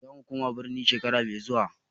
Zamu koma birni shekara mai zuwa.